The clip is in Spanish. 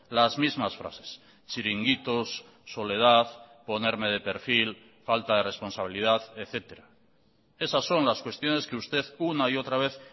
las mismas frases chiringuitos soledad ponerme de perfil falta de responsabilidad etcétera esas son las cuestiones que usted una y otra vez